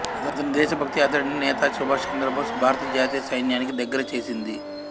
అతని దేశభక్తి అతడిని నేతాజీ సుభాష్ చంద్రబోస్ భారత జాతీయ సైన్యానికి దగ్గర చేసింది